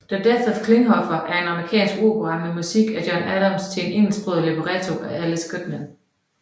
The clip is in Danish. The Death of Klinghoffer er en amerikansk opera med musik af John Adams til en engelsksproget libretto af Alice Goodman